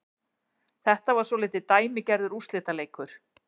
Þetta var svolítið dæmigerður úrslitaleikur